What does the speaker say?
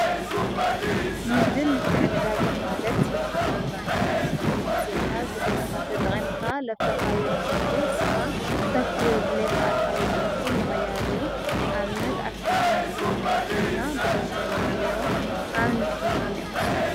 ንግድን ምትዕድዳግን ማለት ሂብካ ምቕባል ማለት እዩ። ግዜኻ ጉልበትካ ተጠቒምካ ለፍረኻዮ ምህርቲ ንስኻ ክተፍርዮ ብለይ ኻኣልካዮ ምህርቲ ምቕያር እዩ። ኣብነት ኣትክልቲ ነፍሪ እንድሕር ኮይና ብገንዘብ ንቕይሮ። ኣብ ንግዲ ሀመይ ኢኹም ንስኹም?